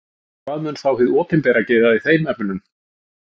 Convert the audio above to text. Og hvað mun þá hið opinbera gera í þeim efnum?